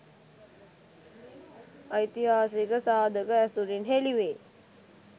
ඓතිහාසික සාධක ඇසුරින් හෙළිවේ.